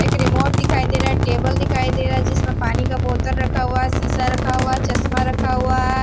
एक रिमोट दिखाई दे रहा टेबल दिखाई दे रहा है जिसमें पानी का बोतल रखा हुआ है शीशा रखा हुआ है चश्मा रखा हुआ है।